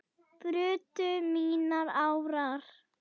brutu mínar árar